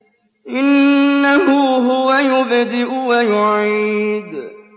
إِنَّهُ هُوَ يُبْدِئُ وَيُعِيدُ